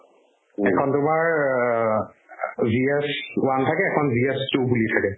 এখন paper GS one থাকে এখন GS two বুলি থাকে